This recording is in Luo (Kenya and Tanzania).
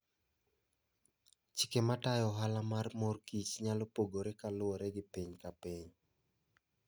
Chike matayo ohala mar mor kich nyalo pogore kaluwore gi piny ka piny.